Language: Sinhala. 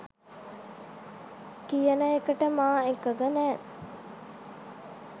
කියන එකට මා එකඟ නෑ